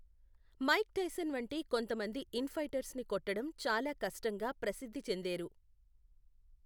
Mic Tyson వంటి కొంతమంది in fighters ని కొట్టడం చాలా కష్టంగా ప్రసిద్ధి చెందేరు.